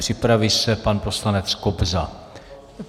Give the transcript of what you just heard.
Připraví se pan poslanec Kobza.